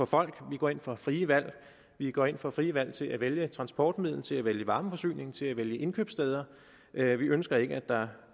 folk vi går ind for frie valg vi går ind for frie valg til at vælge transportmiddel til at vælge varmeforsyning til at vælge indkøbssted vi ønsker ikke at der